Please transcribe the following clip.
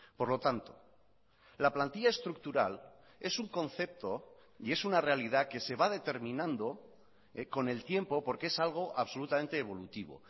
por lo tanto la plantilla estructural es un concepto y es una realidad que se va determinando con el tiempo porque es algo absolutamente evolutivo